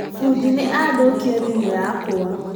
Fũdi nĩ athũkia thimũ yakwa